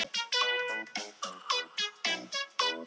Hugrún: Já, voru margir jólasveinar hér?